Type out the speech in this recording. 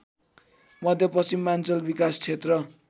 मध्यपश्चिमाञ्चल विकासक्षेत्र